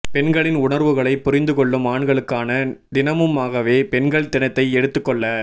பெண்களின் உணர்வுகளைப் புரிந்து கொள்ளும் ஆண்களுக்கான தினமுமாகவே பெண்கள் தினத்தை எடுத்துக் கொள்ள